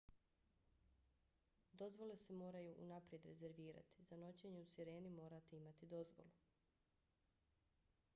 dozvole se moraju unaprijed rezervirati. za noćenje u sireni morate imati dozvolu